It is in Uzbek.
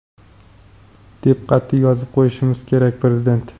deb qatʼiy yozib qo‘yishimiz kerak – Prezident.